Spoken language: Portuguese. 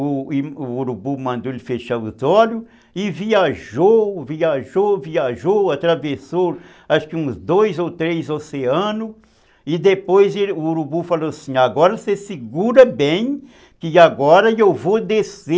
O urubu mandou ele fechar os olhos e viajou, viajou, viajou, atravessou acho que uns dois ou três oceanos e depois o urubu falou assim, agora você segura bem que agora eu vou descer